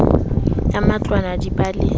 ya matlwana di ba le